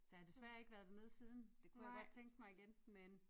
Så jeg har desværre ikke været dernede siden det kunne jeg godt tænke mig igen men